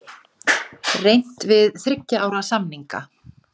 Reynt við þriggja ára samninga